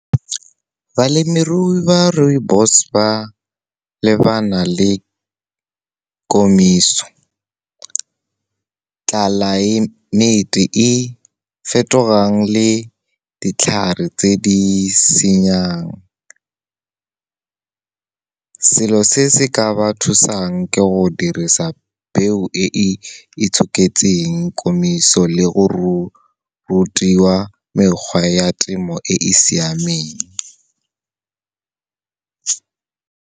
Balemirui ba rooibos ba lebana le komiso, tlelaemete e fetogang, le ditlhare tse di senyang. Selo se se ka ba thusang ke go dirisa peo e e itshoketseng komiso le go rutiwa mekgwa ya temo e e siameng.